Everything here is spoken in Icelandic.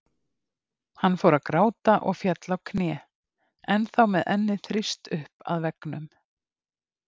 Hann fór að gráta og féll á kné, ennþá með ennið þrýst upp að veggnum.